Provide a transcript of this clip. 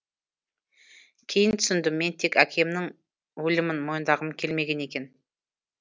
кейін түсіндім мен тек әкемнің өлімін мойындағым келмеген екен